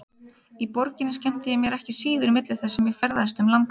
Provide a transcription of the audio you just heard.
Í borginni skemmti ég mér ekki síður milli þess sem ég ferðaðist um landið.